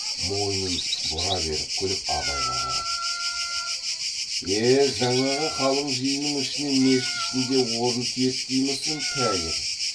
мойнын бұра беріп күліп абайға қарап е жаңағы қалың жиынның ішінен мешіт ішінде орын тиеді деймісің тәйір